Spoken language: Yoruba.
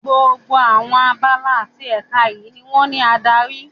Gbogbo àwọn abala àti èka yìí ni wón ní adarí.